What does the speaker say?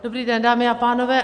Dobrý den, dámy a pánové.